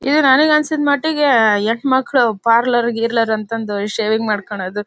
ಇದು ನನಗೆ ಅನಸಿದ ಮಟ್ಟಿಗೆ ಹೆಣ್ಮಕ್ಕಳು ಪಾರ್ಲರ್ ಗೀರ್ಲರ್ ಅಂತ ಶೇವಿಂಗ ಮಾಡ್ಕೊಳ್ಳೋದು.